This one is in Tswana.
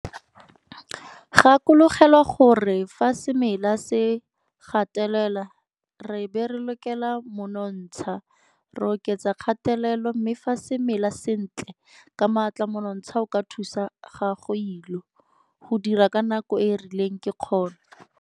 Gakologelwa gore fa semela se gatelelwa re be re lokela monontsha, re oketsa kgatelelo, mme fa se mela sentle ka maatla monontsha o ka thusa gagoilo. Go dira ka nako e e rileng ke kgono.